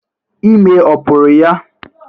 Ime ọ pụrụ ya?